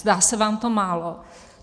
Zdá se vám to málo?